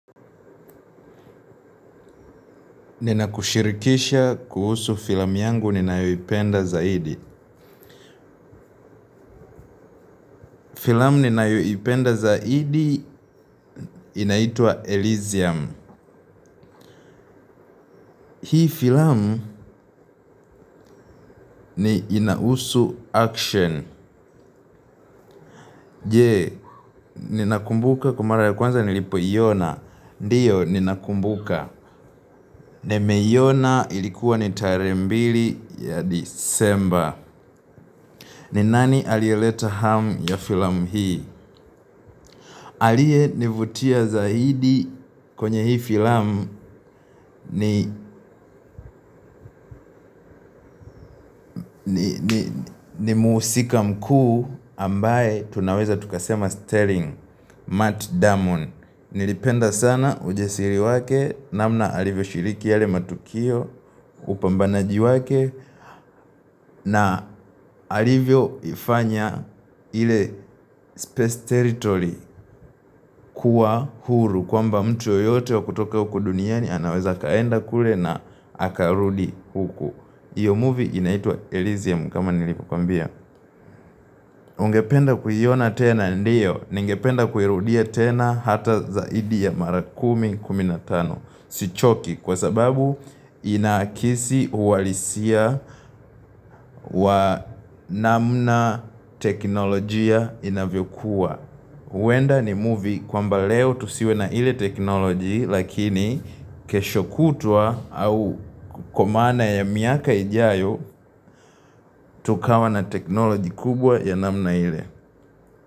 Ninakushirikisha kuhusu filamu yangu ninayoipenda zaidi. Filamu ninayoipenda zaidi inaitwa Elysium. Hii filamu ni inahusu action. Je, ninakumbuka kwa mara ya kwanza nilipoiona. Ndio, ninakumbuka. Nimeiona ilikuwa ni tarehe mbili ya December. Ni nani aliyeleta hamu ya filamu hii? Aliye nivutia zaidi kwenye hii filamu ni muhusika mkuu ambaye tunaweza tukasema Sterling, Matt Damon. Nilipenda sana ujasiri wake namna alivyoshiriki yale matukio upambanaji wake na alivyoifanya ile space territory kuwa huru. Kwamba mtuyoyote wa kutoka huku duniani anaweza akaenda kule na akarudi huku. Iyo movie inaitwa Elysium kama nilivyokwambia. Ungependa kuiona tena ndio. Ningependa kuirudia tena hata zaidi ya mara kumi kumi na tano. Sichoki kwa sababu inaakisi uhalisia wa namna teknolojia inavyokuwa. Huenda ni movie kwamba leo tusiwe na ile teknoloji lakini kesho kutwa au kwa maana ya miaka ijayo tukawa na teknoloji kubwa ya namna ile.